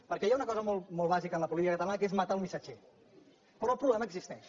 perquè hi ha una cosa molt bàsica en la política catalana que és matar un missatger però el problema existeix